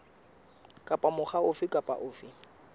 kapa mokga ofe kapa ofe